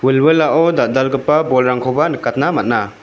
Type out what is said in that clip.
wilwilao dal·dalgipa bolrangkoba nikatna man·a.